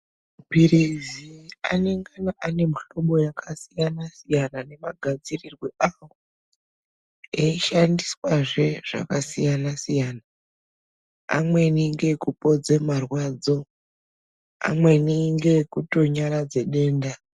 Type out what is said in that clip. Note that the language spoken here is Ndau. Mapilizi anongana ane mihlobo yakasiyana siyana nemagadzirirwo awo eishandisazve zvakasiyana siyana. Amweni ngeekupodze marwadzo amweni ngekutonyaradze denda.